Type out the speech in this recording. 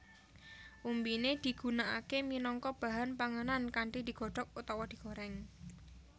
Umbiné digunakaké minangka bahan panganan kanthi digodhok utawa digorèng